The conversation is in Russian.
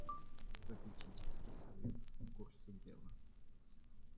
попечительский совет в курсе дела